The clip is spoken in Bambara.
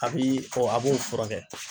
A bi fɔ a b'o furakɛ.